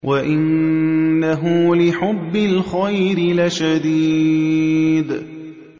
وَإِنَّهُ لِحُبِّ الْخَيْرِ لَشَدِيدٌ